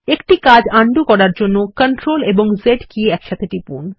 একটি কাজ উন্ডো করার জন্য CTRL এবং Z কী একসাথে টিপুন